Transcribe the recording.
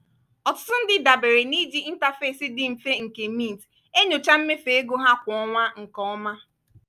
ọtụtụ ndị dabeere n'iji interface dị mfe nke mint enyochaa mmefu ego ha kwa ọnwa nke ọma.